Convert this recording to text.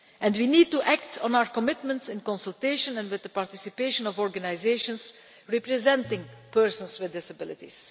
We need to act on our commitments in consultation with, and with the participation of, organisations representing persons with disabilities.